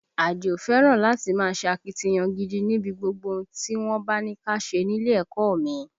Àdìó fẹ́ràn láti máa ṣe akitiyan gidi níbi gbogbo ohun tí wọ́n bá ní ká ṣe nílé ẹ̀kọ́ ọ mi